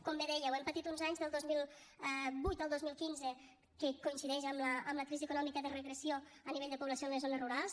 com bé dèieu hem patit uns anys del dos mil vuit al dos mil quinze que coincideix amb la crisi econòmica de regressió a nivell de població en les zones rurals